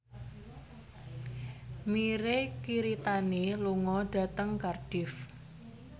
Mirei Kiritani lunga dhateng Cardiff